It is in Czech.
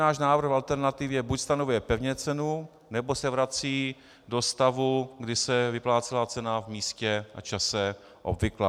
Náš návrh v alternativě buď stanovuje pevně cenu, nebo se vrací do stavu, kdy se vyplácela cena v místě a čase obvyklá.